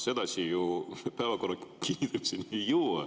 Sedasi me ju päevakorra kinnitamiseni ei jõua.